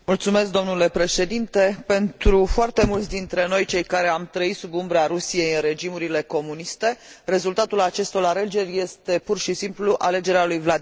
Pentru foarte mulți dintre noi, cei care am trăit sub umbra Rusiei în regimurile comuniste, rezultatul acestor alegeri este, pur și simplu, alegerea lui Vladimir Putin ca președinte.